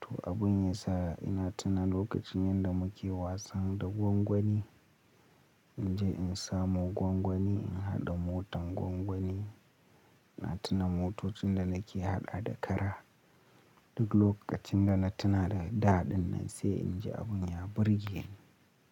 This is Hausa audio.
To abun ya sa ina tuna lokacin yanda muke wasan da gwangwani. In je in samo gwangwani, in haɗa motan gwangwani. Na tuna motocin da nake haɗa da kara. Duk lokacin da na tuna da daɗin nan sai in ji abun ya burge ni.